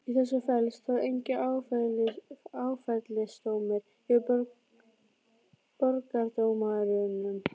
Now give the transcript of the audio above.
Í þessu felst þó enginn áfellisdómur yfir borgardómurum.